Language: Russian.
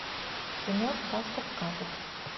кино сказка сказок